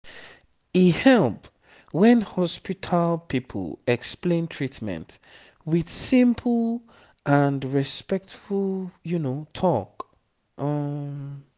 e help when hospital people explain treatment with simple and respectful talk. um